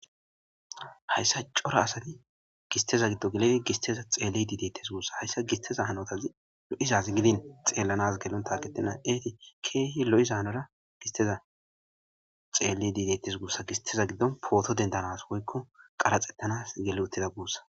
hayssa cora asati gisteza giddo geledi gisteza xeelle diideettes guussa hayssa gisteza hanotazi lo7izazi gidin xeelanas gelon taqetina eeti keehi lo7iza hanora gisteza xeelle diidettes gussa gisteza giddon pooto dendanas woykko qaraxettanas geli utida guussa